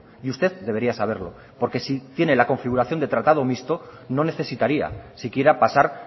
y usted debería saberlo porque si tiene la configuración de tratado mixto no necesitaría si quiera pasar